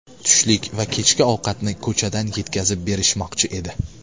Tushlik va kechki ovqatni ko‘chadan yetkazib berishmoqchi edi.